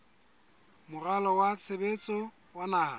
moralo wa tshebetso wa naha